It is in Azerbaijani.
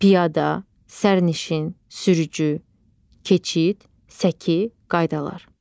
Piyada, sərnişin, sürücü, keçid, səki, qaydalar.